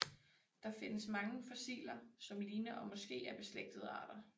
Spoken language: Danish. Der findes mange fossiler som ligner og måske er beslægtede arter